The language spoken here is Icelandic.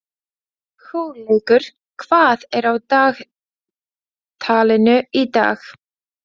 Hugleikur, hvað er á dagatalinu í dag?